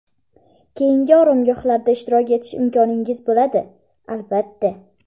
keyingi oromgohlarda ishtirok etish imkoningiz bo‘ladi, albatta.